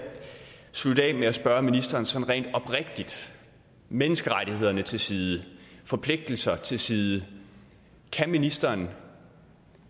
slutte af med at spørge ministeren sådan oprigtigt menneskerettigheder til side forpligtelser til side kan ministeren